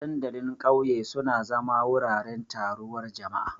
Dandalin ƙauye suna zama wuraren taruwar jama'a.